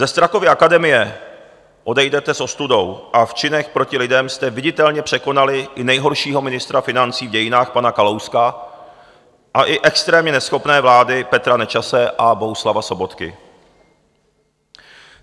Ze Strakovy akademie odejdete s ostudou a v činech proti lidem jste viditelně překonali i nejhoršího ministra financí v dějinách pana Kalouska a i extrémně neschopné vlády Petra Nečase a Bohuslava Sobotky.